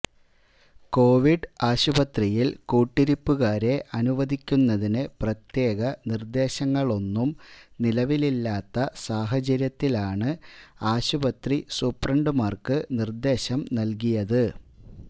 Covid ആശുപത്രിയില് കൂട്ടിരിപ്പുകാരെ അനുവദിക്കുന്നതിന് പ്രത്യേക നിര്ദേശങ്ങളൊന്നും നിലവില്ലാത്ത സാഹചര്യത്തിലാണ് ആശുപത്രി സൂപ്രണ്ടുമാര്ക്ക് നിര്ദേശം നല്കിയത്